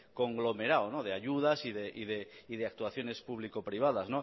conglomerado de ayudas y de actuaciones público privadas